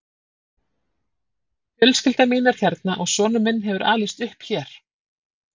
Fjölskyldan mín er hérna og sonur minn hefur alist upp hér.